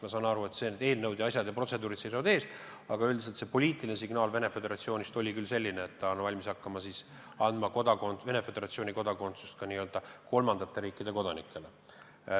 Ma saan aru, et eelnõud ja muud protseduurid seisavad ees, aga üldiselt on poliitiline signaal Venemaa Föderatsioonist selline, et ollakse valmis hakkama andma Venemaa Föderatsiooni kodakondsust ka n-ö kolmandate riikide kodanikele.